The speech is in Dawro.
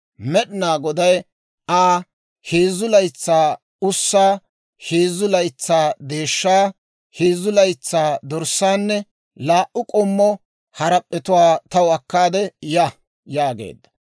Med'inaa Goday Aa, «Heezzu laytsaa ussaa, heezzu laytsaa deeshshaa, heezzu laytsaa dorssaanne laa"u k'ommo harap'p'etuwaa taw akkaade ya» yaageedda.